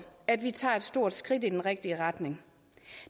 at vi tager et stort skridt i den rigtige retning